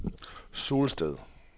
Sulsted